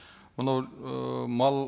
мынау ы мал